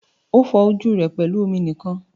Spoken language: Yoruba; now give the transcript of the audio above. O fọ ojú rẹ pẹlú omi nìkan.